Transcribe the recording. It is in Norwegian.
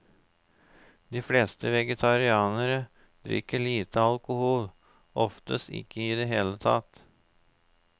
De fleste vegetarianere drikker lite alkohol, oftest ikke i det hele tatt.